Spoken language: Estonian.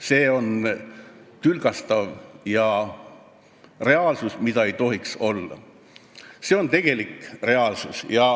See on tülgastav, seda ei tohiks olla, aga see on reaalsus.